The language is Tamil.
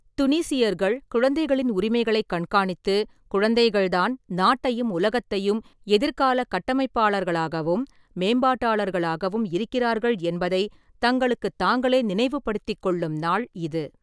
துனிசியர்கள் குழந்தைகளின் உரிமைகளைக் கண்காணித்து, குழந்தைகள்தான் நாட்டையும் உலகத்தையும் எதிர்காலக் கட்டமைப்பாளர்களாகவும், மேம்பாட்டாளர்களாகவும் இருக்கிறார்கள் என்பதை தங்களுக்குத் தாங்களே நினைவுபடுத்திக் கொள்ளும் நாள் இது.